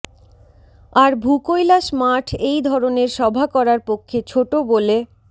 আর ভূকৈলাস মাঠ এই ধরনের সভা করার পক্ষে ছোট বলে